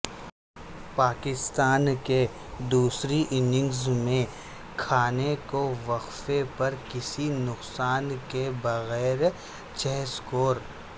پاکستان کے دوسری اننگز میں کھانے کے وقفے پر کسی نقصان کے بغیر چھ سکور